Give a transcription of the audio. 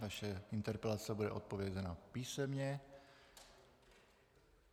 Vaše interpelace bude odpovězena písemně.